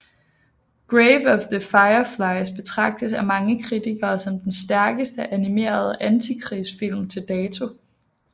Grave of the Fireflies betragtes af mange kritikere som den stærkeste animerede antikrigsfilm til dato